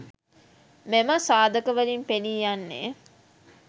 මෙම සාධකවලින් පෙනී යන්නේ